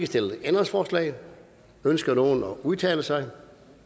stillet ændringsforslag ønsker nogen at udtale sig